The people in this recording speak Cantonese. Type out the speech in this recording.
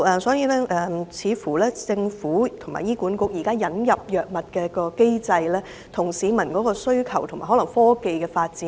所以，政府及醫管局引入藥物的機制，似乎未能追上市民的需求及科技發展。